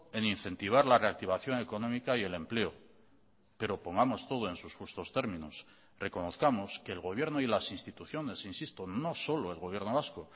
en incentivar la reactivación económica y el empleo pero pongamos todo en sus justos términos reconozcamos que el gobierno y las instituciones insisto no solo el gobierno vasco